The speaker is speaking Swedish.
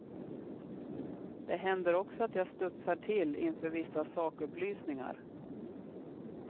Det händer också att jag studsar till inför vissa sakupplysningar.